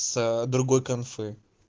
с другой конфы